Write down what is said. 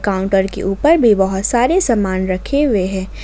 Counter के ऊपर भी बहुत सारे सामान रखे हुए हैं।